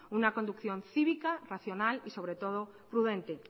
una conducción cívica racional y sobre todo prudente